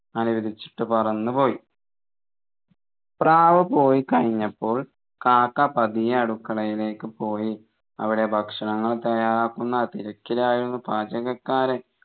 അനുവദിച്ചിട്ട് പറന്നുപോയി പ്രാവ് പോയി കഴിഞ്ഞപ്പോൾ കാക്ക പതിയെ അടുക്കളയിലേക്ക് പോയി അവിടെ ഭക്ഷണങ്ങൾ തയ്യാറാക്കുന്ന തിരക്കിലായിരുന്നു പാചകക്കാരൻ